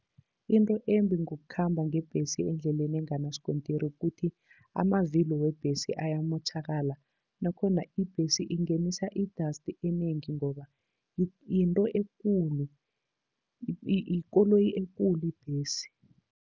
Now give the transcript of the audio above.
Into embi ngokukhamba ngebhesi endleleni enganasikontiri kukuthi amavilo webhesi ayamotjhakala, nakhona ibhesi ingenisa i-dust enengi ngoba yinto ekulu yikoloyi ekulu ibhesi.